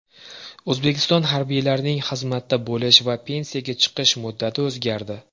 O‘zbekiston harbiylarining xizmatda bo‘lish va pensiyaga chiqish muddati o‘zgardi.